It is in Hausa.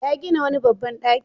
Ya gina wani babban ɗaki.